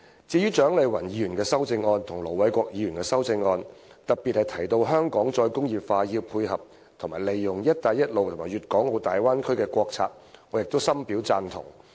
至於蔣麗芸議員和盧偉國議員的修正案，當中特別提到香港"再工業化"應配合和利用"一帶一路"及粵港澳大灣區的國策，我亦深表贊同。